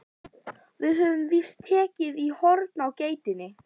Við höfum víst tekið í horn á geitinni.